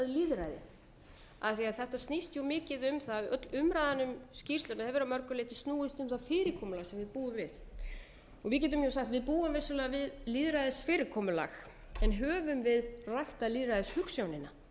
lýðræði af því þetta snýst mikið um það öll umræðan um skýrsla hefur að mörgu leyti snúist um það fyrirkomulag sem við búum við við getum sagt við búum vissulega við lýðræðisfyrirkomulag en höfum við ræktað lýðræðishugsjónina eins og